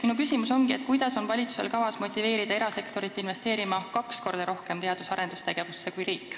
Minu küsimus ongi, kuidas on valitsusel kavas motiveerida erasektorit investeerima teadus- ja arendustegevusse kaks korda rohkem kui riik.